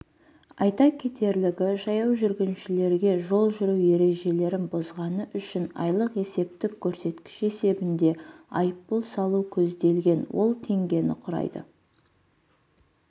айта кетерлігі жаяу жүргіншілерге жол жүру ережелерін бұзғаны үшін айлық есептік көрсеткіш есебінде айыппұл салу көзделген ол теңгені құрайды